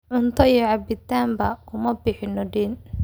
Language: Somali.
Cunto iyo cabitanba kuma bixino deyn